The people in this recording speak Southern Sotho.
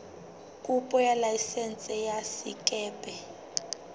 kopo ya laesense ya sekepe